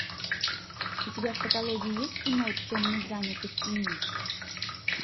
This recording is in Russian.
у тебя в каталоге есть кино чем мы заняты в тени